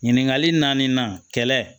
Ɲininkali naani na kɛlɛ